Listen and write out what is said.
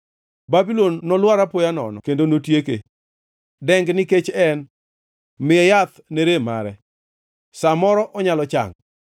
Babulon nolwar apoya nono kendo notieke. Deng nikech en! Miye yath ne rem mare; sa moro onyalo chango.